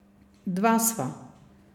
Dva sva.